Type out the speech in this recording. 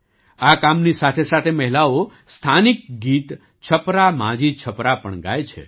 આ કામની સાથેસાથે મહિલાઓ સ્થાનિક ગીત છપરા માઝી છપરા પણ ગાય છે